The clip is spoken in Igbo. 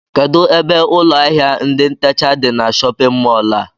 Kedụ ebe ụlọ áhiá ndị ntecha dị n'shóppin mol a?